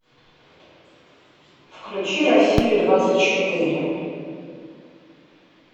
включи россию двадцать четыре